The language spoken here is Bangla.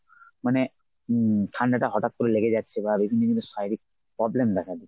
মানে হম ঠান্ডাটা হঠাৎ করে লেগে যাচ্ছে বা বিভিন্ন শারীরিক problem দেখা দিচ্ছে।